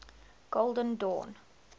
golden dawn